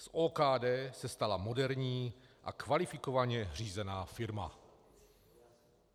Z OKD se stala moderní a kvalifikovaně řízená firma."